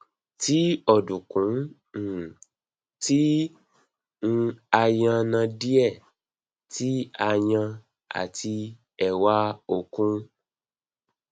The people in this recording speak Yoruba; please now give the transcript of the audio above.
ti ọdunkun um ti um a yanadie ti a yan ati ewa okun